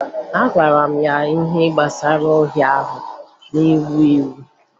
Agwara m ya ihe gbasara ọrịa ahụ na-ewu ewu